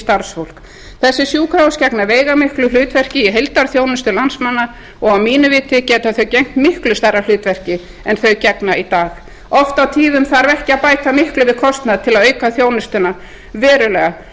starfsfólk þessi sjúkrahús gegna veigamiklu hlutverki í heildarþjónustu landsmanna og að mínu viti geta þau gegnt miklu stærra hlutverki en þau gegna í dag oft á tíðum þarf ekki að bæta miklu við kostnað til að auka þjónustuna verulega